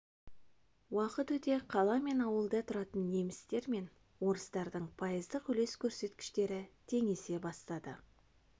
уақыт өте қала мен ауылда тұратын немістер мен орыстардың пайыздық үлес көрсеткіштері теңесе бастады